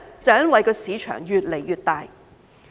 因為市場越來越大。